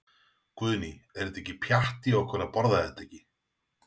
Guðný: Er þetta ekki pjatt í okkur að borða þetta ekki?